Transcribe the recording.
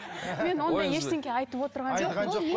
мен ондай ештеңе айтып отырған жоқпын